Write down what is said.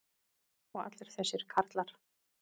og allir þessir karlar.